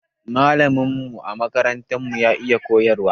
Malamin mu a makaranta ya iya koyarwa